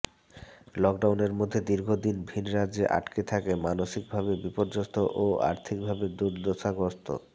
লকডাউনের মধ্যে দীর্ঘ দিন ভিন্ রাজ্যে আটকে থেকে মানসিক ভাবে বিপর্যস্ত ও আর্থিক ভাবে দুর্দশাগ্রস্ত